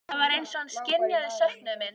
Það var eins og hann skynjaði söknuð minn.